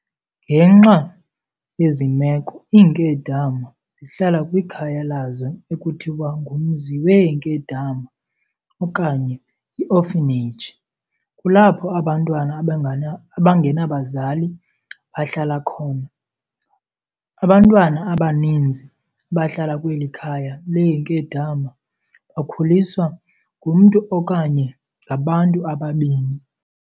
Ngenxa yezi meko iinkedama zihlala kwikhaya lazo ekuthiwa ngumzi weenkedama, okanye i-orphanage, kulapho abantwana abangenabazali bahlala khona. Abantwana abaninzi abahlala kweli khaya leenkedama bakhuliswa ngumntu okanye ngabantu ababini.